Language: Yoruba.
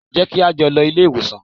Jẹ́ kí á jọ lọ ilé ìwòsàn!